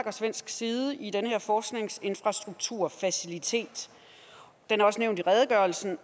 og svensk side i den her forskningsinfrastrukturfacilitet den er også nævnt i redegørelsen